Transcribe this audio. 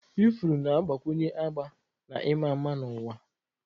Ifuru na-agbakwunye agba na ịma mma n'ụwa.